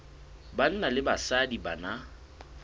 banna le basadi ba na